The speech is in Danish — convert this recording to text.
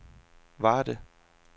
Varde